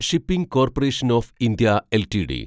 shipping corporation of India LTD